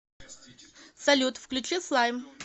салют включи слайм